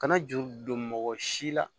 Kana juru don mɔgɔ si la